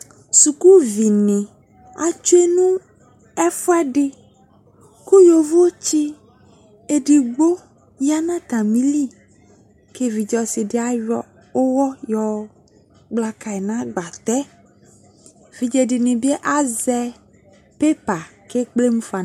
Sukuvi atsue no ef8ɛde ko yovotse edigbo ya no atame ki evidze ɔse ayɔ uwɔ yɔ kpla kai no agbatɛ Evidze de ne be azɛ pepa ko ekple mu fa n